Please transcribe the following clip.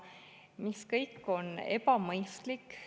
See kõik on ebamõistlik.